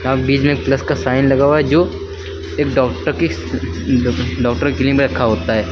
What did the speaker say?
यहां बीच में प्लस का साइन लगा हुआ है जो एक डॉक्टर की डॉक्टर के लिए में रखा होता है।